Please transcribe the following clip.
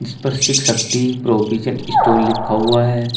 इस पर Shiv Shakti provision store लिखा हुआ है।